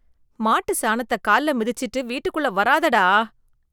மாட்டு சாணத்த கால்ல மிதிச்சுட்டு வீட்டுக்குள்ள வராத டா